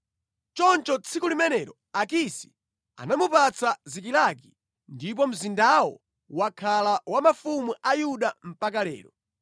Choncho tsiku limenelo Akisi anamupatsa Zikilagi ndipo mzindawo wakhala wa mafumu a Yuda mpaka lero.